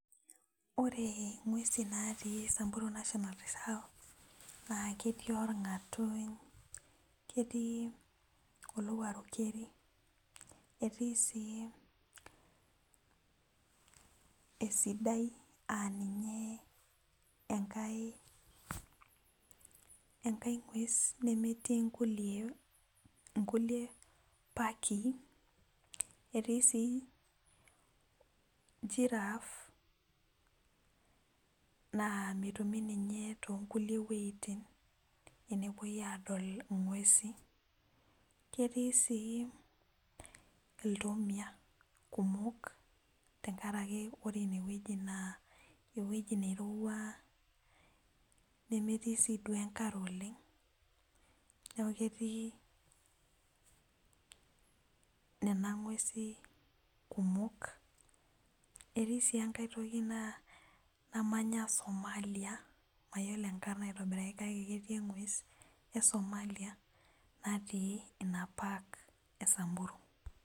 Ore ngwesi natii samburu national reserve na ketii orngatuny ,ketii olowuaru keri etii si esidai aa ninye enkae ngwes nemetii nkukie paaki etii sii girrafe nemetumi ninye tonkukie wuejitin tenepoi adol ngwesi ketii si iltomia kumok tenkaraki ore inewueji na ewoi nairowua nemetii si enkare oleng neaku ketii nena ngwesi kumok etii sii enkai toki namanya Somalia mayiolo enkarna aitobiraki kakebketii engues esomalia namanya samburu.